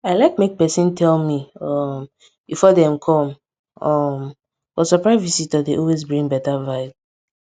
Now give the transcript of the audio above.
i like make pesin tell me um before dem com um but surprise visitor dey always bring beta vibe